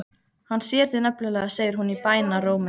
Hann sér þig nefnilega, segir hún í bænarrómi.